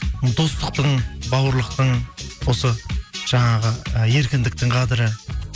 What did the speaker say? достықтың бауырлықтың осы жаңағы і еркіндіктің қадірі